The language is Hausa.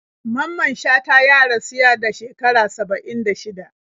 Mamman Shata ya rasu yada shekara 76